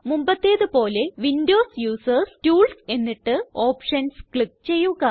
മുമ്പത്തേതുപോലെ windows users tools എന്നിട്ട് options click ചെയ്യുക